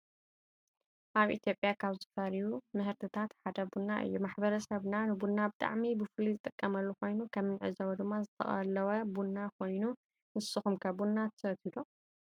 አብ ኢትየጲያ ካብ ዝፈሩዩ ምህርትታት ሓደ ቡና እዩ ።ማሕበሰብና ንቡና ብሓዕሚ ብፍሉይ ዝጥቀመሉ ኮይኑ ከም እንዕዞቦ ድማ ዝተቀለወ ቡና ኮይኑ ንስኩም ከ ቡና ትሰትዩ ዶ?